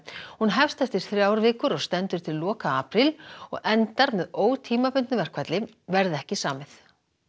hún hefst eftir þrjár vikur og stendur til loka apríl og endar með ótímabundnu verkfalli verði ekki samið